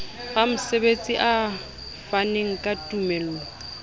ramosebetsi a faneng ka tumello